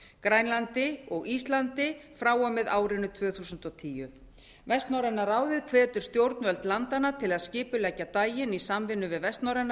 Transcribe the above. grænlandi og íslandi frá og með árinu tvö þúsund og tíu vestnorræna ráðið hvetur stjórnvöld landanna til að skipuleggja daginn í samvinnu við vestnorræna